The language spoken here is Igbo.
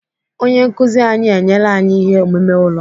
Onye nkụzi anyị enyela anyị ihe omume ụlọ.